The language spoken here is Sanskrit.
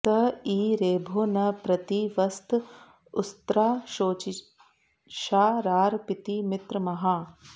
स ईं॑ रे॒भो न प्रति॑ वस्त उ॒स्राः शो॒चिषा॑ रारपीति मि॒त्रम॑हाः